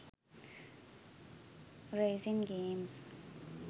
racing games